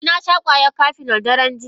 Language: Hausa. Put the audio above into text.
Eh nasha kwayar Cafenol daren jiya.